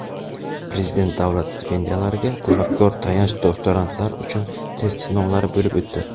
Prezident davlat stipendiyalariga talabgor tayanch doktorantlar uchun test sinovlari bo‘lib o‘tdi.